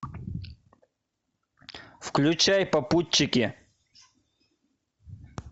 включай попутчики